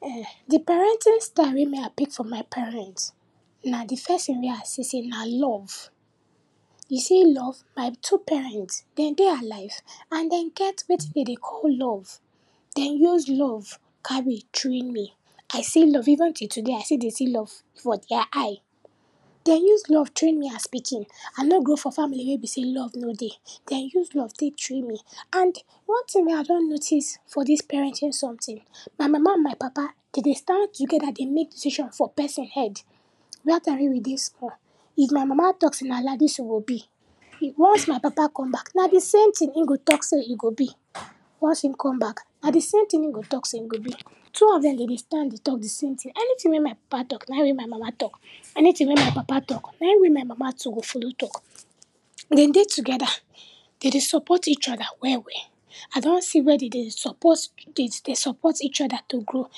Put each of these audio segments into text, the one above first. Um, di parenting style wey me I pick from my parent na di first tin wey I see sey na love. You see love, my two parent den dey alive and den get wetin den dey call love. Den use love carry train me, I see love even till today, I still dey see love for dia eye. Den use love train me as pikin. I no grow for family wey be sey love no dey, den use love tey train me and one tin wey I don notice for dis parenting sometin, my mama and my papa, den dey stand togeda dey make decision for person head. Dat time wey we dey school, if my mama talk sey na laidis e go be, e, once my papa come back na di same tin e go talk sey e go be, once e come back, na di same tin e go talk sey e go be. Two of dem, den dey stand dey talk di same tin, anytin wey my papa talk, nai wey my mama talk, anytin wey my papa talk, na wey my mama too go follow talk. Den dey togeda, den dey support each oda well well. I don see where den dey support, den dey support each oda to grow,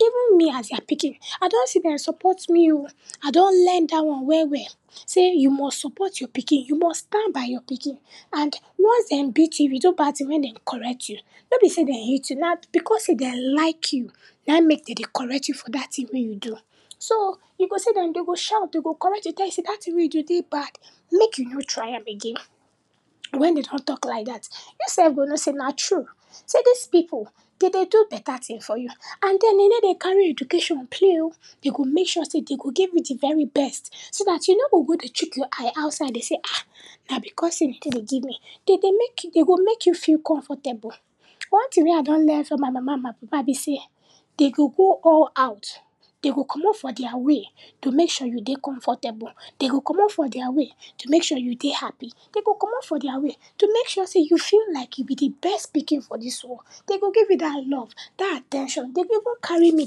even me as dia pikin, I don see den support me o, I don learn dat one well well, sey you must support your pikin, you must stand by your pikin and once dem beat you, if you do bad tin wey den correct you, no be sey den hate you, na because sey den like you naim make den dey correct you for dat tin wey you do. So, you go see dem, dem go shout, den go correct you, den go tell you sey dat tin wey you do dey bad, mek you no try am again. Wen den don talk like dat, you sef go know sey na true, sey dis pipu den dey do beta tin for you and den, den ney dey carry education play o, den go make sure sey den go give you di very best, so dat you no go go dey chook your eye outside dey say ah ah, na because sey den ney dey give me, den dey nake you, den go make you feel comfortable. One tin wey I don learn from my mama and my papa be sey, den go go all out, den go comot for dia way to make sure you dey comfortable, den go comot for dia way to make sure you dey happy, den go comot for dia way to make sure sey you feel like you be di best pikin for dis world, den go give you dat love, dat at ten tion, den go even carry me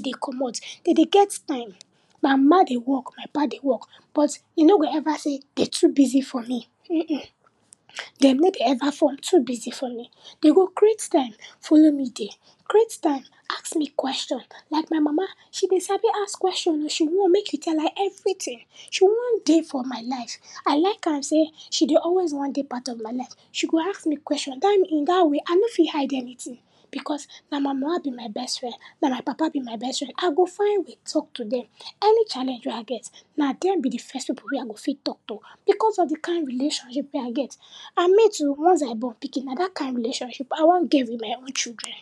dey comot, den dey get time. My mama dey work, my papa dey work, but you no go ever sey den too busy for me, uhmm uhmm, dem nor dey ever form to busy for me. Den go create time follow me dey, create time ask me question. Like my mama, she dey sabi ask question o, she want mek you tell am everytin, she wan dey for my life. I like am sey she dey always wan dey part of my life, she go ask me question, dat mean, in dat way I nor fit hide anytin because na my mama be my best friend, na my papa be my best friend. I go find way talk to dem, any challenge wey I get, na dem be di first pipu wey I go fit talk to because of di kind relationship wey I get. And me too once I born pikin na dat kind relationship I wan get wit my own children.